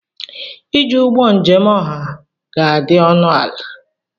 iji ụgbọ njem ọha ga-adị ọnụ ala